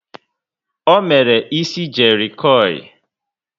O mere ísì jerry coil